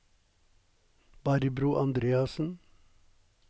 Barbro Andreassen